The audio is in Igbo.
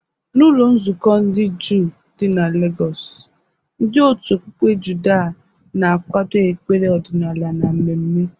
N'ụlọ nzukọ ndị Juu dị na Legọsụ, ndị otu okpuke Judha na-akwado ekpere ọdịnala na mmemme.